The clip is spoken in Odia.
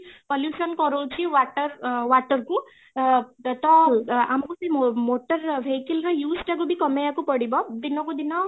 pollutionକରଉଛି water ଅ water କୁ ଅ ତ ଆମକୁ ସେଇ motor vehicle ର use ଟାକୁ ବି କମେଇବାକୁ ପଡିବ ଦିନ କୁ ଦିନ